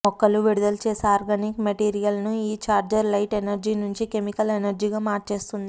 మొక్కలు విడుదల చేసే ఆర్గానిక్ మెటీరియల్ను ఈ చార్జర్ లైట్ ఎనర్జీ నుంచి కెమెకిల్ ఎనర్జీగా మార్చేస్తుంది